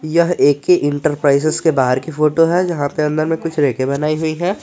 यह ए_के ही इंटरप्राइजेज के बाहर की फोटो है जहां पर अंदर में कुछ रैके बनाई हुई है।